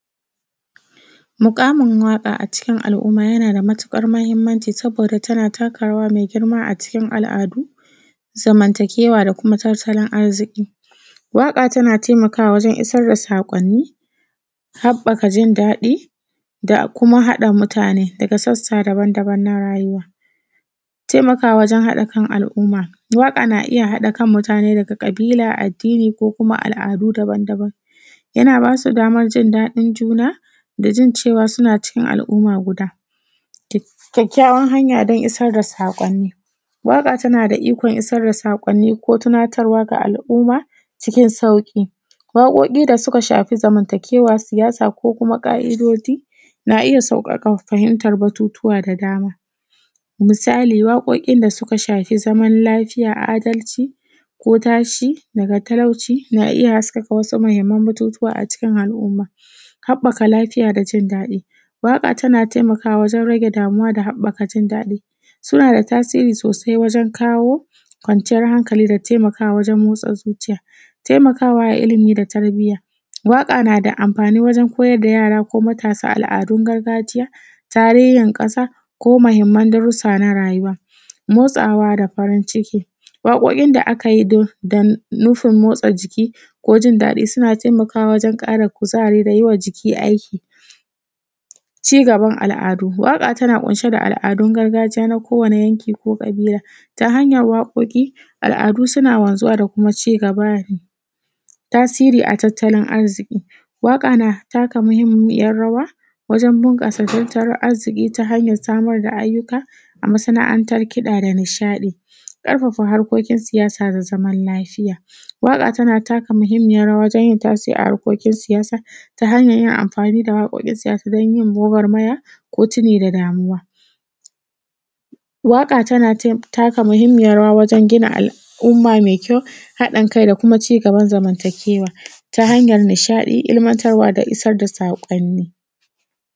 Muƙamun waƙa a cikin al’umma yana da matuƙar mahimmanci saboda tana taka rawa mai girma a cikin al’adu, zamantakewa, da kuma tattalin arziki. Waƙa tana taimakawa wajen isar da saƙƙoni, haɓaka jin daɗi, da kuma haɗa mutane daga sassa dabam-daban na rayuwa. Taimakawa wajen hada kan al’umma, waƙa na iya haɗa kan mutane daga ƙabila, addini ko kuma al’adu dabam- dabam, yana basu daman jin daɗin juna da jin cewa suna cikin al’umma guda. Kyakkyawan hanya don isar da saƙoni: waƙa tana da ikon isar da saƙoni ko tunatarwa ga al’umma cikin sauƙi. Waƙoƙi da suka shafi zamantakewa, siyasa ko kuma ƙa’idado na iya sauƙaƙa fahimtar batutuwa da dama. Misali, waƙoƙin da suka shafi zaman lafiya, adalci ko tashi daga talauci na iya haskaka wasa mahimman batutuwa a ciki al’umma. Haɓaka lafiya da jin daɗi: waƙa tana taimakawa wajen rage damuwa da haɓaka jin daɗi. Suna da tasiri sosai wajen kawo kwanciyar hankali da taimakawa wajen motsa zuciya. Taimakawa a ilimi da tarbiyya: waƙa nada amfani wajen koyar da yara ko matasa al’adun gargajiya, tarehin kaƙa, ko mahimman darussa na rayuwa. Motsawa da farin ciki. Waƙoƙin da akayi don nufi motsa jiki, ko jin daɗi, suna taimakawa wajen ƙara kuzari da yiwa jiki aiki. Ci gaban al’adu: waƙa tana ƙunshe da al’adun gargajiya na kowani yanki ko ƙabila, ta hanyar waƙoƙi al’adu suna wanzuwa da kuma ci gaba. Tasiri a tattalin arziki: waƙa na taka muhimmiyar rawa, wanjen bunƙasa tattalin arziki ta hanyar samar da ayyuka a masana’antar kiɗa nishaɗi. ƙarfafa harkokin siyasa da zaman lafiya: waƙa tana taka muhimmayar rawa wajen yin tasiri a harkokin siyasa, ta hanyar yin amfani da waƙoƙin siyasa don yin gwagwarmaya, ko tuni da damuwa. Waƙa tana tai, tana taka muhimmayar rawa wajen gina al’umma mai kyau, haɗin kai da kuma ci gaban zamantakewa, ta hanyar nishadi, ilmantarwa, da isar da saƙonni.